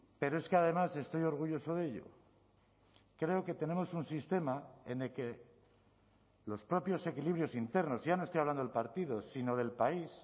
pero es que además estoy orgulloso de ello creo que tenemos un sistema en el que los propios equilibrios internos ya no estoy hablando del partido sino del país